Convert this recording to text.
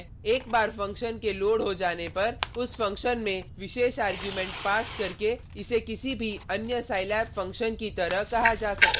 एक बार फंक्शन के लोड हो जाने पर उस फंक्शन में विशेष आर्ग्युमेंट पास करके इसे किसी भी अन्य scilab फंक्शन की तरह कहा जा सकता है